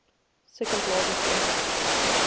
second largest airport